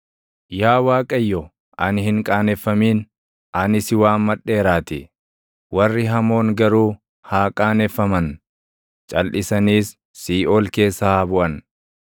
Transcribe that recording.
Yaa Waaqayyo, ani hin qaaneffamin; ani si waammadheeraatii; warri hamoon garuu haa qaaneffaman; calʼisaniis siiʼool keessa haa buʼan.